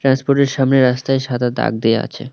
সামনে রাস্তায় সাদা দাগ দেওয়া আছে।